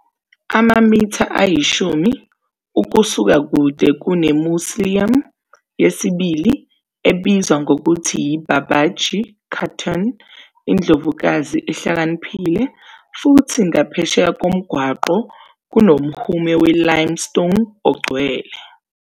Amamitha ayishumi ukusuka kude kune-mausoleum yesibili ebizwa ngokuthi yi-Babaji Khatun, "indlovukazi ehlakaniphile", futhi ngaphesheya komgwaqo kunomhume we-limestone ongcwele.